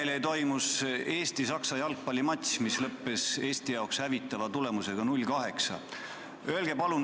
Üleeile toimus Eesti-Saksa jalgpallimatš, mis lõppes Eesti jaoks hävitava tulemusega 0 : 8.